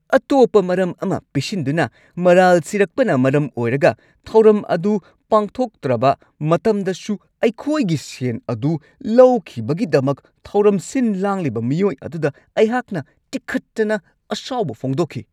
ꯑꯇꯣꯞꯄ ꯃꯔꯝ ꯑꯃ ꯄꯤꯁꯤꯟꯗꯨꯅ ꯃꯔꯥꯜ ꯁꯤꯔꯛꯄꯅ ꯃꯔꯝ ꯑꯣꯏꯔꯒ ꯊꯧꯔꯝ ꯑꯗꯨ ꯄꯥꯡꯊꯣꯛꯇ꯭ꯔꯕ ꯃꯇꯝꯗꯁꯨ ꯑꯩꯈꯣꯏꯒꯤ ꯁꯦꯟ ꯑꯗꯨ ꯂꯧꯈꯤꯕꯒꯤꯗꯃꯛ ꯊꯧꯔꯝ ꯁꯤꯟ-ꯂꯥꯡꯂꯤꯕ ꯃꯤꯑꯣꯏ ꯑꯗꯨꯗ ꯑꯩꯍꯥꯛꯅ ꯇꯤꯈꯠꯇꯅ ꯑꯁꯥꯎꯕ ꯐꯣꯡꯗꯣꯛꯈꯤ ꯫